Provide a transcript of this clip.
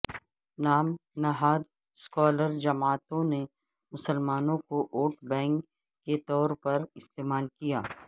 نام نہاد سیکولر جماعتوں نے مسلمانوں کو ووٹ بینک کے طور پر استعمال کیا